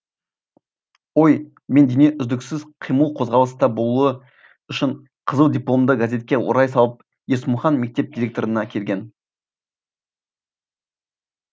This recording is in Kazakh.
ой мен дене үздіксіз қимыл қозғалыста болуы үшін қызыл дипломды газетке орай салып есмұхан мектеп директорына келген